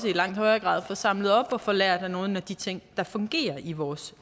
langt højere grad får samlet op og får lært af nogle af de ting der fungerer i vores